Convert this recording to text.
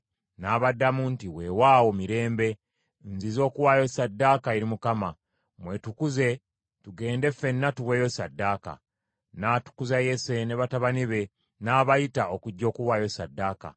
N’abaddamu nti, “Weewaawo, mirembe. Nzize okuwaayo ssaddaaka eri Mukama . Mwetukuze tugende ffenna tuweeyo ssaddaaka.” N’atukuza Yese ne batabani be, n’abayita okujja okuwaayo ssaddaaka.